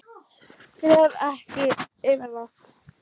Gref ekki yfir það.